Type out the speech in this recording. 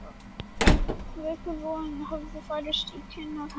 Veikur roði hafði færst í kinnar hennar.